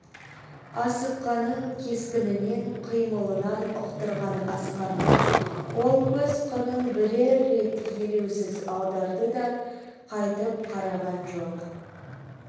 асыққанын кескінінен қимылынан ұқтырған асқарға ол көз қырын бірер рет елеусіз аударды да қайтып қараған жоқ